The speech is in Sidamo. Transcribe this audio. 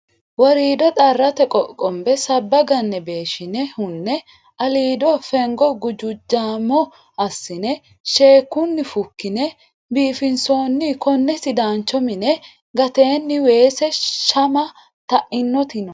Worido xarate qoqonbe sabba gane beeshshine hune aliido fengo gujujamo assine shekkunni fukkine biifinsonni kone sidaancho mine gateni weese shama tainoti no